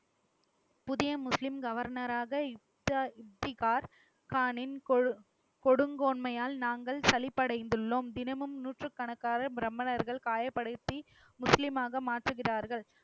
புதிய முஸ்லிம் கவர்னராக இச்சா இஃப்திகார் கானின் கொடு~ கொடுங்கோன்மையால் நாங்கள் சலிப்படைந்துள்ளோம். தினமும் நூற்றுக்கணக்கான பிராமணர்கள் காயப்படுத்தி முஸ்லீமாக மாற்றுகிறார்கள்.